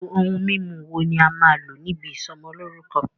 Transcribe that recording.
Irú ohun mímu wo ní a máa n lò níbi ìsọmọlórúkọ́?